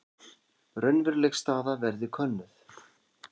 Raunveruleg staða verði könnuð